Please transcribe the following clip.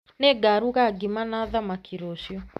Nĩngaruga ngima na thamaki rũciũ